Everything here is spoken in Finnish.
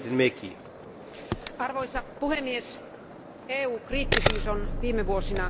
Arvoisa puhemies, EU kriittisyys on viime vuosina lisääntynyt.